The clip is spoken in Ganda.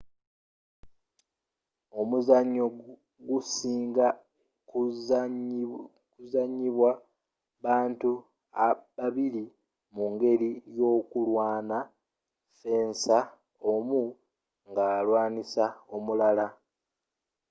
omuzzanyo gusinga kuzanyibwa bantu babiri mu'ngeli yokulwaana fensa omu nga alwaanisa omulala